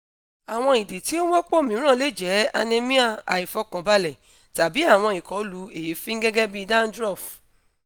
awọn idi ti o wọpọ miiran le jẹ anemia aifọkanbalẹ tabi awọn ikọlu eefin gẹgẹ bi dandruff